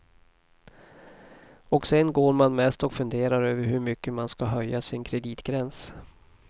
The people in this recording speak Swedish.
Och sen går man mest och funderar över hur mycket man ska höja sin kreditgräns.